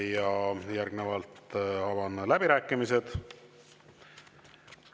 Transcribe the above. Järgnevalt avan läbirääkimised.